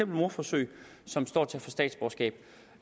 mordforsøg og som står til